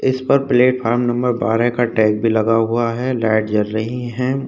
इस पर platform number बारह का टैग भी लगा हुआ है। लाइट जल रही है।